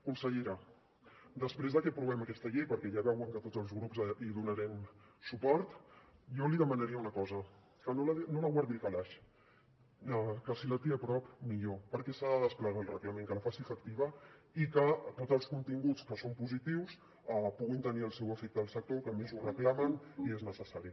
consellera després de que aprovem aquesta llei perquè ja veuen que tots els grups hi donarem suport jo li demanaria una cosa que no la guardi al calaix que si la té a prop millor perquè s’ha de desplegar el reglament que la faci efectiva i que tots els continguts que són positius puguin tenir el seu efecte al sector que a més ho reclama i és necessari